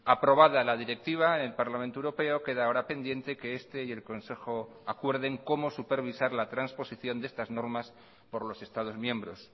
aprobada la directiva en parlamento europeo queda ahora pendiente que este y el consejo acuerden cómo supervisar la transposición de estas normas por los estados miembros